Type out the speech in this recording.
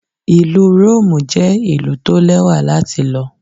Ìlú Róòmù jẹ́ ìlú tó lẹ́wà láti lọ.